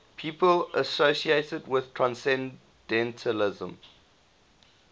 people associated with transcendentalism